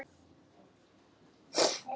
Erna þiggur hins vegar í glas.